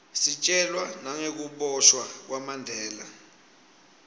sitjelwa nagekubosha kwamandela